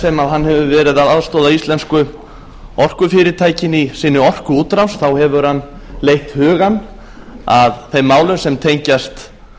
sem hann hefur verið að aðstoða íslensku orkufyrirtækin í sinni orkuútrás þá hefur hann leitt hugann að þeim málum sem tengjast